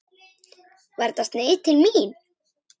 Var þetta sneið til mín?